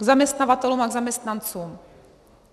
K zaměstnavatelům a k zaměstnancům.